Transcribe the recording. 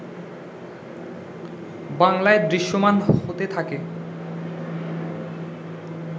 বাংলায় দৃশ্যমান হতে থাকে